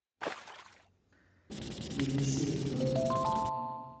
елисеевым